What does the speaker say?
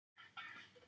Feigum munni